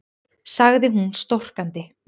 sagði hún storkandi.